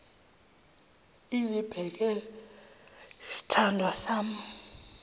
izibekele sithandwa sami